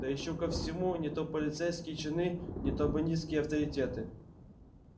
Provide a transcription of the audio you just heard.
да ещё ко всему не то полицейские чины не то бандитские авторитеты